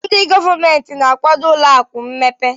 Ndị gọọmentị na-akwado ụlọ akụ mmepe.